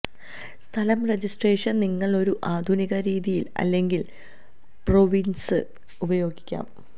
സ്ഥലം രജിസ്ട്രേഷൻ നിങ്ങൾ ഒരു ആധുനിക രീതിയിൽ അല്ലെങ്കിൽ പ്രോവിൻസ് ഉപയോഗിക്കാം